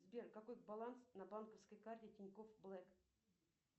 сбер какой баланс на банковской карте тинькофф блэк